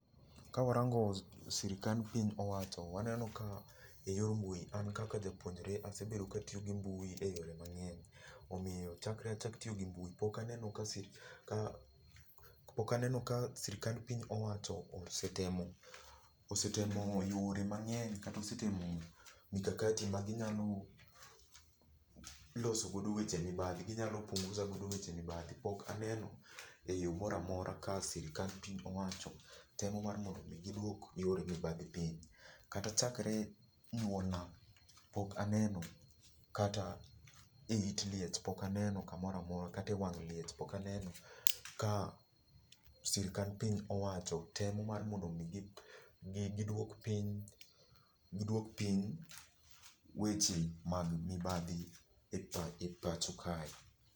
Ka warango sirkand piny owacho waneno ka eyor mbui an kaka japuonjre asebedo katiyo gi mbui eyore mang'eny, omiyo chakre achak tiyo gi mbui pok aneno ka pok aneno ka sirkand piny owacho osetemo yudo osetemo yore mang'eny kata osetemo mikakati ma ginyalo losogo weche mibadhi ginyalo punguza godo weche mibadhi pok ane no eyo moro amora ka sirkand piny owacho temo mar mondo mi giduok yore mibadhi piny. Kata chakre nyuolna pok aneno, kata eit liech pok aneno kamoro amora kata ewang' liech pok aneno ka sirkand piny owacho temo mar mondo mi giduok piny giduok piny weche mag mibadhi e pacho kae.